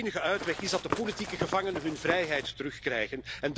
De enige uitweg is dat de politieke gevangenen hun vrijheid terugkrijgen.